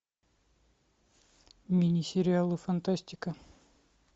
мини сериалы фантастика